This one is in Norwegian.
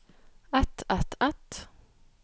ett ett ett